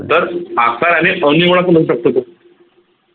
तर आकाराने पण होऊ शकतो तो